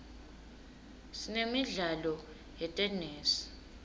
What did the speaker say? sinemidlalo yetenesi